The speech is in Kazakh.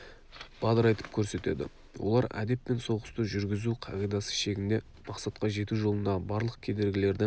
бадырайтып көрсетеді олар әдеп пен соғысты жүргізу қағидасы шегінде мақсатқа жету жолындағы барлық кедергілерді